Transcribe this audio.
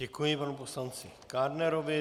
Děkuji panu poslanci Kádnerovi.